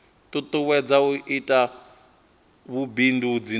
tutuwedza u ita vhubindudzi navho